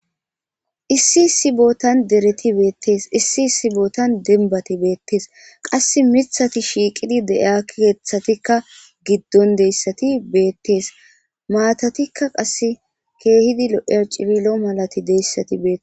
issi issi bootan dereti beettees issi sibootan denbati beettees qas mithati shiiqidi de7ia keeththatikka giddon deyssati beettees maatatikka qasse keehidi lo7ya rcirilo malati deyssati beee